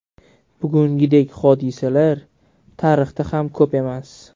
Bugungidek hodisalar tarixda ham ko‘p emas.